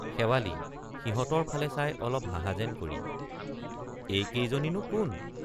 শেৱালি— সিহঁতৰ ফালে চাই অলপ হাঁহা যেন কৰি এই কেইজনী নো কোন?